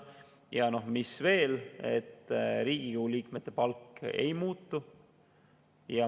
Ja mis veel: Riigikogu liikmete palk ei muutu.